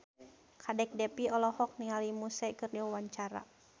Kadek Devi olohok ningali Muse keur diwawancara